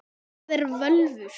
Hvað eru völvur?